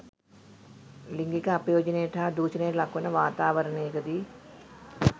ලිංගික අපයෝජනයට හා දුෂණයට ලක්වන වාතාවරණයකදීය.